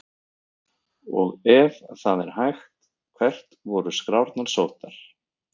Og ef það er hægt, hvert voru skrárnar sóttar?